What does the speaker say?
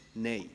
Annahme